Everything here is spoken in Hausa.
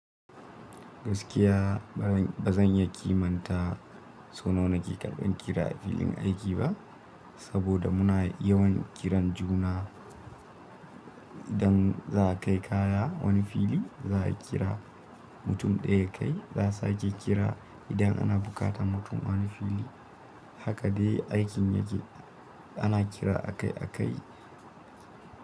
Gaskiya ba zan iya kimanta sau nawa nake karɓan kira a wurin aiki ba, saboda muna yawan kiran juna. Idan za a kai kaya wani wuri, za a kira mutum ɗaya ya kai. Za a sake kira idan ana buƙatar mutum a wani wurin. Haka dai aikin yake. Ana kira akai-akai.